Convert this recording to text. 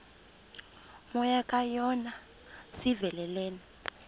moya kajona sivelele